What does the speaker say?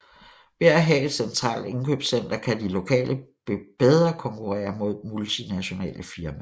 Ved at have et centralt indkøbscenter kan de lokale bedre konkurrere mod multinationale firmaer